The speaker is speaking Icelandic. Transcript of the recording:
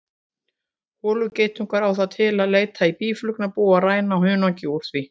Holugeitungur á það til að leita í býflugnabú og ræna hunangi úr því.